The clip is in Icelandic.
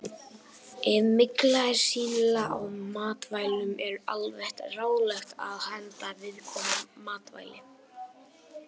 Ef mygla er sýnileg á matvælum er almennt ráðlagt að henda viðkomandi matvæli.